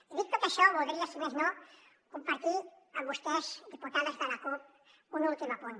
i dit tot això voldria si més no compartir amb vostès diputades de la cup un últim apunt